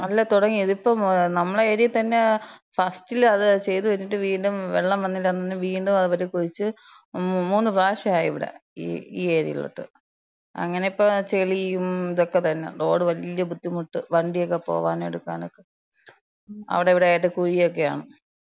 അല്ല. തൊടങ്ങി. ഇതിപ്പം നമ്മളെ ഏര്യേ തന്നെ ഫസ്റ്റിലത് ചെയ്ത് കഴിഞ്ഞിട്ട് വീണ്ടും വെള്ളം വന്നില്ലാന്ന് പറഞ്ഞ് വീണ്ടും അവര് കുഴിച്ച് മൂ, മൂന്ന് പ്രാവശ്യായിവിടെ. ഈ ഏര്യേലോട്ട്. അങ്ങനിപ്പം ചെളിയും ദൊക്കെ തന്നെ. റോഡ് വല്യ ബുദ്ധിമുട്ട് വണ്ട്യൊക്കെ പോകാനും എടുക്കാനൊക്കെ. അവ്ടെ ഇവ്ടെ ആയിട്ട് കുഴിയെക്കെയാണ്.